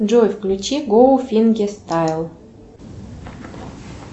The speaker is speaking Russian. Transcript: джой включи гоу фингестайл